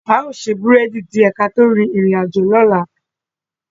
A o se búrẹ́dì die ki a to rin irin ajo lola